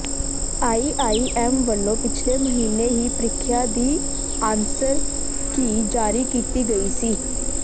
IIM ਵੱਲੋਂ ਪਿਛਲੇ ਮਹੀਨੇ ਹੀ ਪ੍ਰੀਖਿਆ ਦੀ ਆਂਸਰ ਕੀ ਜਾਰੀ ਕੀਤੀ ਗਈ ਸੀ